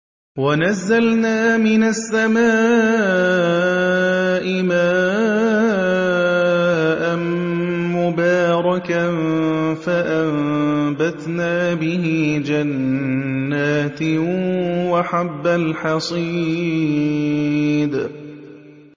وَنَزَّلْنَا مِنَ السَّمَاءِ مَاءً مُّبَارَكًا فَأَنبَتْنَا بِهِ جَنَّاتٍ وَحَبَّ الْحَصِيدِ